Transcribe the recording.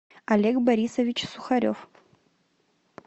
олег борисович сухарев